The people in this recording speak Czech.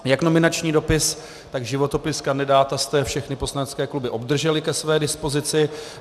Jak nominační dopis, tak životopis kandidáta jste všechny poslanecké kluby obdržely ke své dispozici.